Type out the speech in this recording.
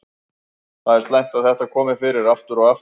Það er slæmt að þetta komi fyrir aftur og aftur.